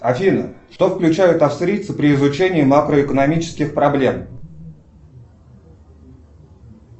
афина что включают австрийцы при изучении макроэкономических проблем